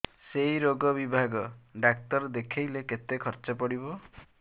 ସେଇ ରୋଗ ବିଭାଗ ଡ଼ାକ୍ତର ଦେଖେଇଲେ କେତେ ଖର୍ଚ୍ଚ ପଡିବ